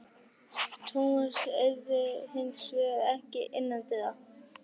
Thomas eirði hins vegar ekki innandyra.